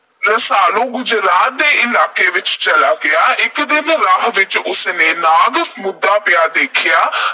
ਰਸਾਲੂ ਗੁਜਰਾਤ ਦੇ ਇਲਾਕੇ ਵਿੱਚ ਚਲਾ ਗਿਆ। ਇਕ ਦਿਨ ਰਾਹ ਵਿੱਚ ਉਸ ਨੇ ਇਕ ਨਾਗ ਮੂਧਾ ਪਿਆ ਵੇਖਿਆ।